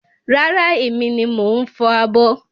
Rárá, èmi ni mo ń fọ̀ abọ́